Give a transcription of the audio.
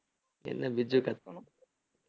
cut பண்ணும்